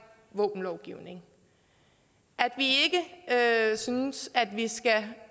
våbenlovgivning at synes at vi skal